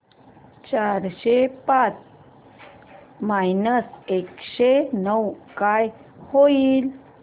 चारशे पाच मायनस एकशे नऊ काय होईल